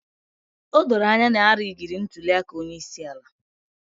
O doro anya na a rigiri ntuli aka onye isi ala.